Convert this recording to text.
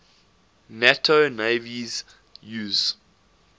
nato navies use